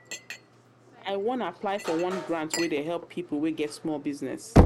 wan apply for one grant wey dey help pipo wey get small business.